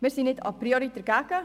Wir sind nicht a priori dagegen.